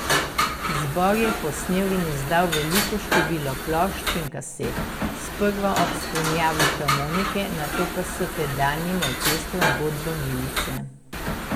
Zbor je posnel in izdal veliko število plošč in kaset, sprva ob spremljavi harmonike, nato pa s tedanjim orkestrom Godba milice.